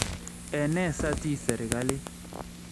Ene satiiy serikalitit?